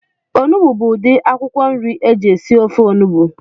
Onugbu bu udi akwụkwọ nri eji esi ofe onugbu